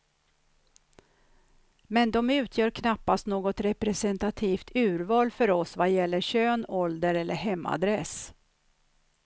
Men de utgör knappast något representativt urval för oss vad gäller kön, ålder eller hemadress.